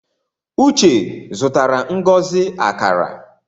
Uche zutara Ngozi akara